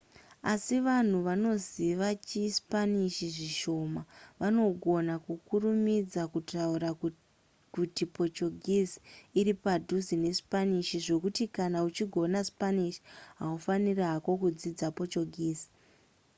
asi vanhu vanoziva chispanish zvishoma vanogona kukurumidza kutaura kuti portuguese iri padhuze nespanish zvekuti kana uchigona spanish haufaniri hako kudzidza portuguese